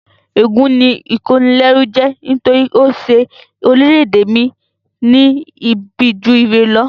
Ègún ni ìkónilẹ́rú jẹ́ nítorí ó ṣe orílẹ̀-ède mi ní ibi ju ire lọ